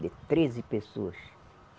De treze pessoas.